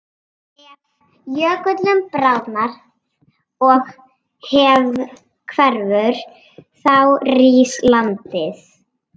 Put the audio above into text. Ef jökullinn bráðnar og hverfur þá rís landið.